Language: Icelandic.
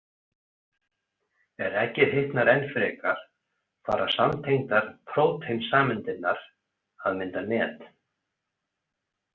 Er eggið hitnar enn frekar fara samtengdar próteinsameindirnar að mynda net.